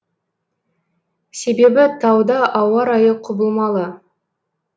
себебі тауда ауа райы құбылмалы